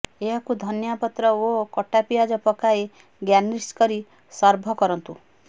ଏହାକୁ ଧନିଆ ପତ୍ର ଓ କଟା ପିଆଜ ପକାଇ ଗାର୍ନିସ୍ କରି ସର୍ଭ କରନ୍ତୁ